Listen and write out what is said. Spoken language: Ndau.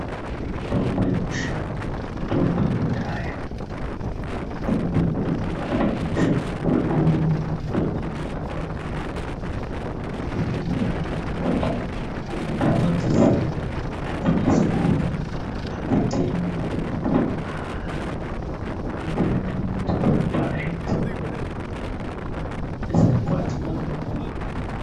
Mutombo yekushango mitombo yekudhaya mitombo yekuti unotobayito tore mushango woto ningira pa pepa nhau mutombo uyu wakanakire pakuti kumuntu unodziziya hadzinetsi kuona adzitengwi dzinotorwa mahara zvino zvakanakire kuti kuraoa dzinotorapa zvikahila dzisingakwadzi muntu.